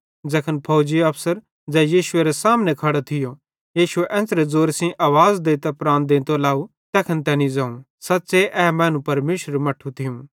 ज़ैखन फौजीअफसर ज़ै यीशुएरे सामने खड़ो थियो यीशु एन्च़रां ज़ोरे सेइं आवाज़ देइतां प्राण देंतो लाव तैखन तैनी ज़ोवं सच़्च़े ए मैनू परमेशरेरू मट्ठू थियूं